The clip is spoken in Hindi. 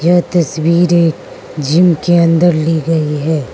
ये तस्वीरें जिम के अंदर ली गई है।